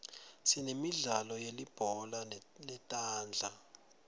sinemidlalo yelibhola letandla